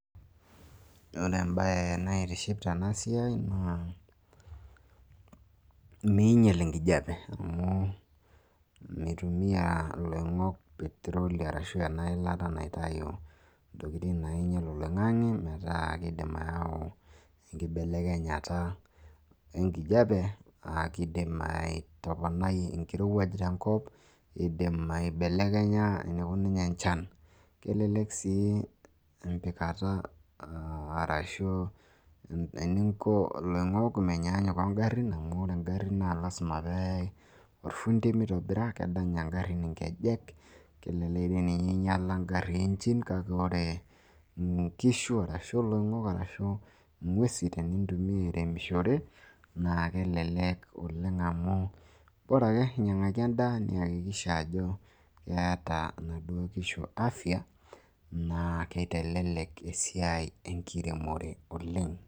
ore embae naitiship tena siai naa ming'iel enkijiape, amu mitumiya iloing'ok peteroli, ashu intokitin naing'ial oloing'ang'e metaa miidim ayau enkibelekenyata enkijiape.aa kidim atoponai enkijiape tenkop. kidim aibelekenya enikununye enchan, kelelk siii empikata arashu, eninko ilongok amu menyaanyuk ogarin amu ore garin keyieu eilata, kedenya nkejek, kake ore nkishu arashu iloing'ok, inguesi tenintuimia airemishore naa kelelek. oleng amu bora ake inyiangaki edaa. naa keeta inaduoo kishu afia. naa kitelelek esiai enkiremore oleng.